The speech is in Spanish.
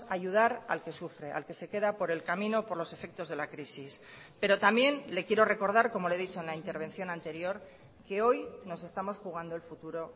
ayudar al que sufre al que se queda por el camino por los efectos de la crisis pero también le quiero recordar como le he dicho en la intervención anterior que hoy nos estamos jugando el futuro